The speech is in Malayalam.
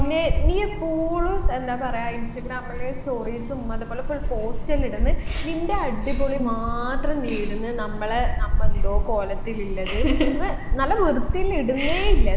പിന്നെ നീ എപ്പോളും എന്താ പറയാ ഇൻസ്റ്റാഗ്രാമിൽ stories ഉം അതുപോലെ full post എല്ലും ഇടുന്ന് നിൻെറ അടിപൊളി മാത്രം നീ ഇടുന്ന് നമ്മളെ നമ്മ എന്തോ കോലത്തിലില്ലത് ന്ന് നല്ല വിർത്തിയിൽ ഇടുന്നെ ഇല്ല